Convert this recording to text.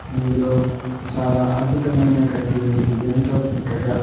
ఇందులో చాలా అద్భుతమైన గడ్డి ఉంది ఎంతో సక్కగా--